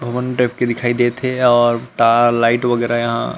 भवन टाइप के दिखाई देत हे और टा लाइट वगेरा यहाँ--